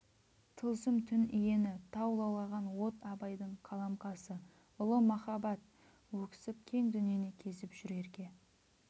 тылсым түн иені тау лаулаған от абайдың қаламқасы ұлы махаббат өксіп кең дүниені кезіп жүр ерке